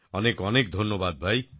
অনেক অনেক ধন্যবাদ ভাই